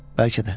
Bəlkə də.